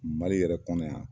Mali yɛrɛ kɔnɔ yan